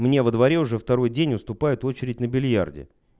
мне во дворе уже второй день уступают очередь на бильярде